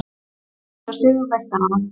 Sjö marka sigur meistaranna